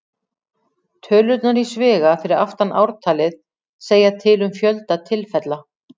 Tölurnar í sviga fyrir aftan ártalið segja til um fjölda tilfella.